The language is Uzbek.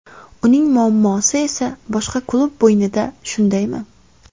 Uning muammosi esa boshqa klub bo‘ynida shundaymi?